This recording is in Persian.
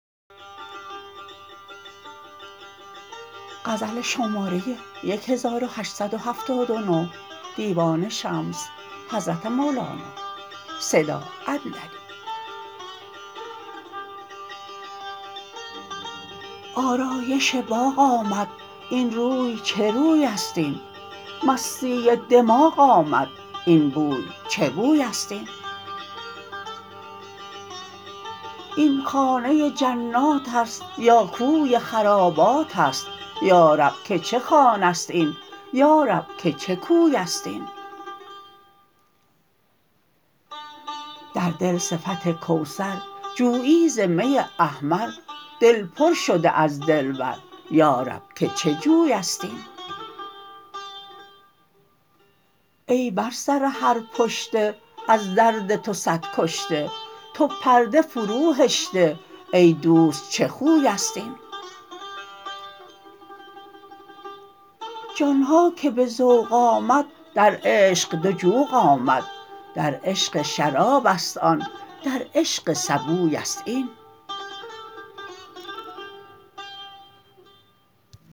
آرایش باغ آمد این روی چه روی است این مستی دماغ آمد این بوی چه بوی است این این خانه جنات است یا کوی خرابات است یا رب که چه خانه ست این یا رب که چه کوی است این در دل صفت کوثر جویی ز می احمر دل پر شده از دلبر یا رب که چه جوی است این ای بر سر هر پشته از درد تو صد کشته تو پرده فروهشته ای دوست چه خوی است این جان ها که به ذوق آمد در عشق دو جوق آمد در عشق شراب است آن در عشق سبوی است این